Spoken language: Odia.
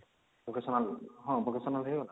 vocational ହଁ vocational ହେଇଗଲା